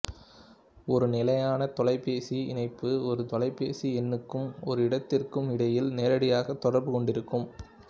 ஒரு நிலையான தொலைபேசி இணைப்பு ஒரு தொலைபேசி எண்ணுக்கும் ஒரு இடத்திற்கும் இடையில் நேரடியாக தொடர்பு கொண்டிருக்கும்